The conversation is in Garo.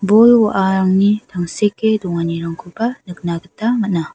bol-wa·arangni tangseke donganirangkoba nikna gita man·a.